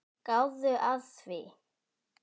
Gáðu að því.